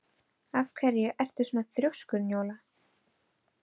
Af hverju ertu svona þrjóskur, Njóla?